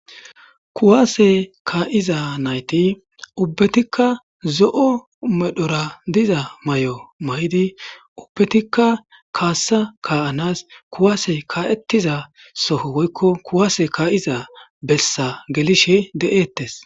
Kuwase ka'iza naytti uubbatikka zo'o medhora diza mayo mayidii uubbatikka kasa ka'anas kuwsey ka'ietizaso woykko kuwase ka'iza bessa gellishe dettes